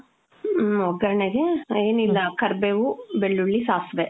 ಮ್ಮ್. ಒಗ್ಗರಣೆಗೆ ಏನಿಲ್ಲ ಕರ್ಬೇವು, ಬೆಳ್ಳುಳ್ಳಿ, ಸಾಸ್ವೆ.